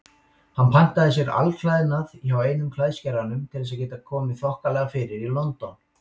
Hann pantaði sér alklæðnað hjá einum klæðskeranum til að geta komið þokkalega fyrir í London.